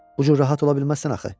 Bu cür rahat ola bilməzsən axı.